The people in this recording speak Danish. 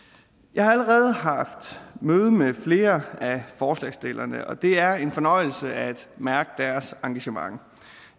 jeg har allerede haft møde med flere af forslagsstillerne og det er en fornøjelse at mærke deres engagement